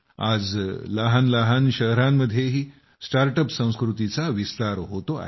आज लहानलहान शहरांमध्येही स्टार्टअप संस्कृतीचा विस्तार होतोय